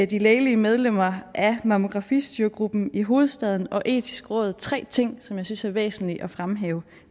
de lægelige medlemmer af mammografistyregruppen i hovedstaden og det etiske råd tre ting som jeg synes er væsentlige at fremhæve